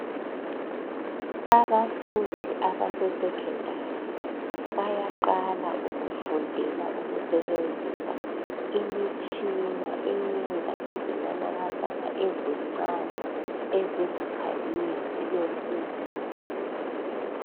Abafundi abasese secondary bayaqala ukufundela ukusebenzisa imitshina eyenza izinanakazana ezincane ezingakhanyiyo zibe nkulu.